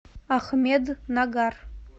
ахмеднагар